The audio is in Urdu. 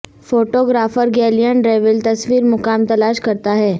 فوٹو گرافر گیلین رویل تصویر مقام تلاش کرتا ہے